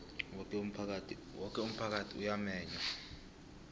woke umphakathi uyamenywa